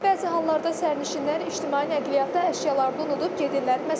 Bəzi hallarda sərnişinlər ictimai nəqliyyatda əşyalarını unudub gedirlər.